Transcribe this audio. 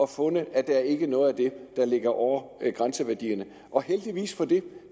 fundet at der ikke er noget af det der ligger over grænseværdierne og heldigvis for det